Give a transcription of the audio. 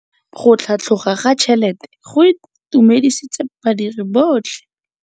Go tlhatlhoga ga tšhelete go itumedisitse badiri botlhe.